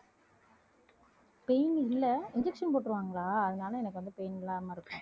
pain இல்லை injection போட்டுருவாங்களா அதனாலே, எனக்கு வந்து pain இல்லாம இருக்கும்